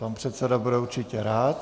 Pan předseda bude určitě rád.